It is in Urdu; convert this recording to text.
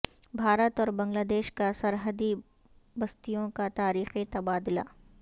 بھارت اور بنگلہ دیش کا سرحدی بستیوں کا تاریخی تبادلہ